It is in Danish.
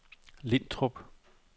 Lintrup